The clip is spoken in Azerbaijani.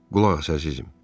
Qulaq as əzizim.